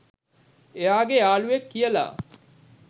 එයාගේ යාළුවෙක් කියලා.